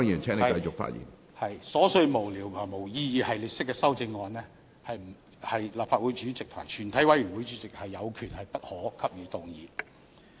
對於瑣屑無聊或沒有意義的系列式修正案，立法會主席和全體委員會主席是有權予以不可動議。